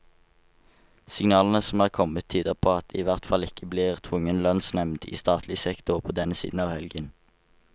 Signalene som er kommet, tyder på at det i hvert fall ikke blir tvungen lønnsnevnd i statlig sektor på denne siden av helgen.